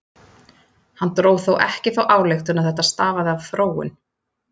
Hann dró þó ekki þá ályktun að þetta stafaði af þróun.